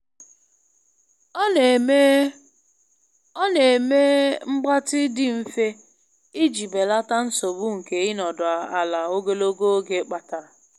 Ọ na-eme Ọ na-eme mgbatị dị mfe iji belata nsogbu nke ịnọdụ ala ogologo oge kpatara.